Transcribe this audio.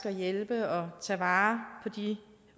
at hjælpe og tage vare på de